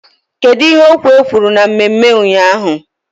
Kedu ihe okwu a kwuru na mmemme ụnyaahụ?